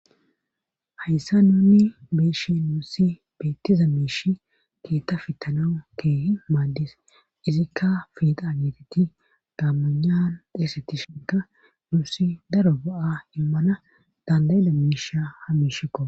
Hayssa nunni beishe nuussi beettiza miishi keetta fittanau keeh maaddis izikka fiida ageeteti daammunan dheesetti shinka nuusi daro ba7a immana dandayida miisha ha miishikko.